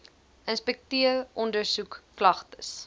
inspekteer ondersoek klagtes